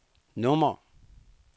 nummer